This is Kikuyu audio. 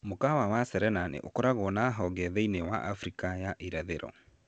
Mũkawa wa Serena nĩ ũkoragwo na honge thĩinĩ wa Afrika ya irathĩro.